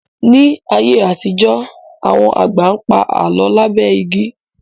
Ní ayé àtijọ́, àwọn àgbà pa Àlọ́ lábẹ́ igi